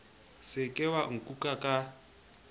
se ke wa nkuka ka